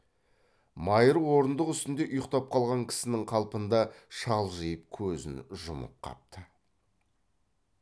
майыр орындық үстінде ұйықтап қалған кісінің қалпында шалжиып көзін жұмып қапты